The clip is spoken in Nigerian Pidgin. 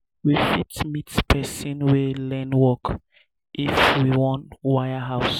we fit meet person wey learn work if we wan wire house